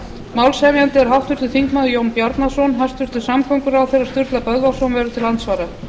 málshefjandi er háttvirtur þingmaður jón bjarnason hæstvirtur samgönguráðherra sturla böðvarsson verður til andsvara